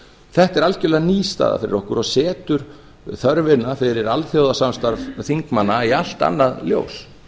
þetta er algjörlega ný staða fyrir okkur og setur þörfina fyrir alþjóðasamstarf þingmanna í allt annað ljós